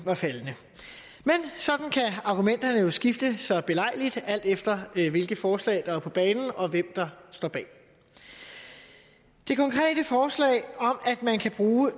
er faldende sådan kan argumenterne jo skifte så belejligt alt efter hvilket forslag der er på banen og hvem der står bag det konkrete forslag om at man kan bruge